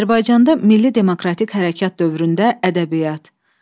Azərbaycanda Milli Demokratik hərəkat dövründə ədəbiyyat.